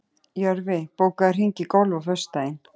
Jörfi, bókaðu hring í golf á föstudaginn.